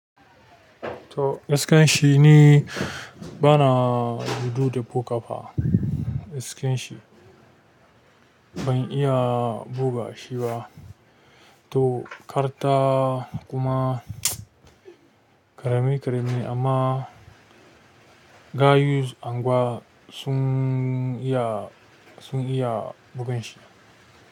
To, iskan shi ne bana judu da ko ƙafa. Iskan shi ban iya buga shi ba. To, karta kuma ƙarami ƙarami amma ga yus angwa sun iya, sun iya bugan shi.